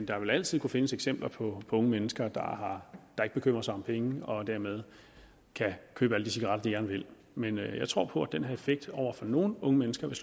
der vil altid kunne findes eksempler på unge mennesker der ikke bekymrer sig om penge og dermed kan købe alle de cigaretter de gerne vil men jeg tror på at den her effekt over for nogle unge mennesker og